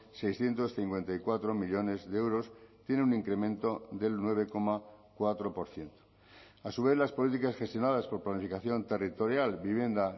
seiscientos cincuenta y cuatro millónes de euros tiene un incremento del nueve coma cuatro por ciento a su vez las políticas gestionadas por planificación territorial vivienda